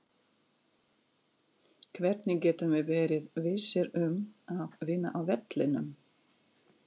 Hvernig getum við verið vissir um að vinna á vellinum?